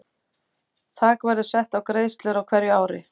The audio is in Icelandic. Þak verður sett á greiðslur á hverju ári.